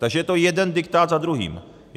Takže je to jeden diktát za druhým.